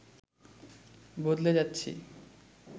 বদলে যাচ্ছি